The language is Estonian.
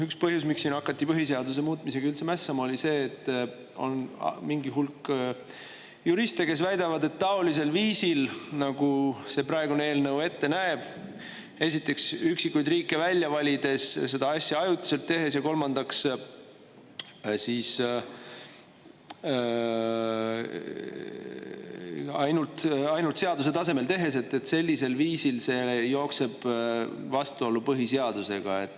Üks põhjus, miks siin hakati põhiseaduse muutmisega üldse mässama, oli see, et on mingi hulk juriste, kes väidavad, et taolisel viisil, nagu see praegune eelnõu ette näeb – esiteks, üksikuid riike välja valides, teiseks, seda asja ajutiselt tehes, ja kolmandaks, ainult seaduse tasemel tehes –, jookseb see vastuollu põhiseadusega.